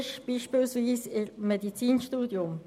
Das gilt beispielsweise für das Medizinstudium.